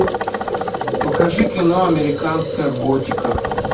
покажи кино американская готика